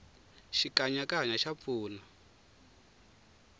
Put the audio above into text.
xikanyakanya xa pfuna